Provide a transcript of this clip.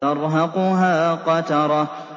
تَرْهَقُهَا قَتَرَةٌ